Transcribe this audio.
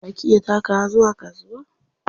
Za ki iya takawa zuwa kasuwa?